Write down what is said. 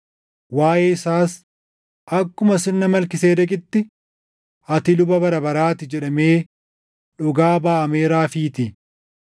Waaʼee isaas, “Akkuma sirna Malkiiseedeqitti, ati luba bara baraa ti” + 7:17 \+xt Far 110:4\+xt* jedhamee dhugaa baʼameeraafiitii.